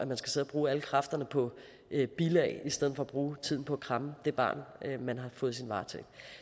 og bruge alle kræfterne på bilag i stedet for at bruge tiden på at kramme det barn man har fået i sin varetægt